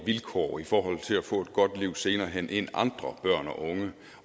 vilkår i forhold til at få et godt liv senere hen end andre børn og unge